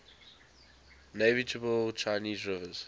navigable chinese rivers